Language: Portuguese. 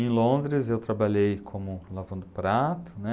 Em Londres, eu trabalhei como lavando prato, né